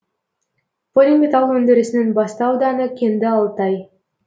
полиметалл өндірісінің басты ауданы кенді алтай